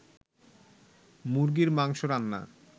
মুরগীর মাংস রান্না